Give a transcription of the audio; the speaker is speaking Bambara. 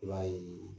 I b'a ye